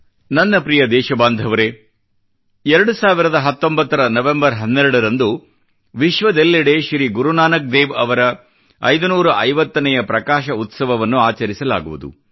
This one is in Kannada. ನನ್ನ ಪ್ರಿಯ ದೇಶ ಬಾಂಧವರೇ 2019ರ ನವೆಂಬರ್ 12 ರಂದು ವಿಶ್ವದೆಲ್ಲೆಡೆ ಶ್ರೀ ಗುರುನಾನಕ್ ದೇವ್ ರವರ 550 ನೆಯ ಪ್ರಕಾಶ ಉತ್ಸವವನ್ನು ಆಚರಿಸಲಾಗುವುದು